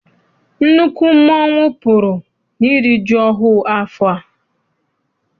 Nnukwu mmọnwu pụrụ n'iri ji ọhụụ afọ a.